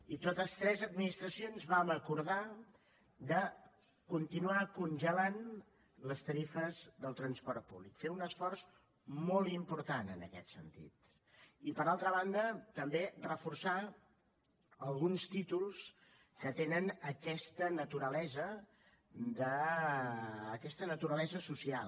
i totes tres administracions vam acordar de continuar congelant les tarifes del transport públic fer un esforç molt important en aquest sentit i per altra banda també reforçar alguns títols que tenen aquesta naturalesa social